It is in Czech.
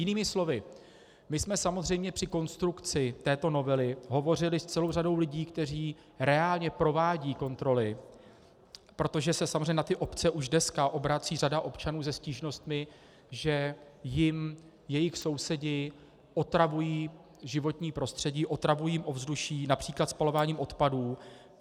Jinými slovy, my jsme samozřejmě při konstrukci této novely hovořili s celou řadou lidí, kteří reálně provádějí kontroly, protože se samozřejmě na ty obce už dneska obrací řada občanů se stížnostmi, že jim jejich sousedi otravují životní prostředí, otravují jim ovzduší například spalováním odpadů.